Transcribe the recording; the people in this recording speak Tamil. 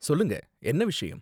சொல்லுங்க, என்ன விஷயம்?